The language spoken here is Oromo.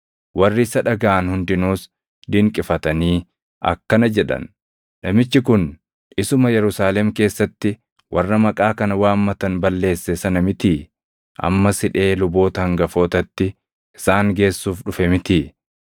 Warri isa dhagaʼan hundinuus dinqifatanii akkana jedhan; “Namichi kun isuma Yerusaalem keessatti warra maqaa kana waammatan balleesse sana mitii? Ammas hidhee luboota hangafootatti isaan geessuuf dhufe mitii?”